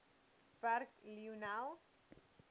werk lionel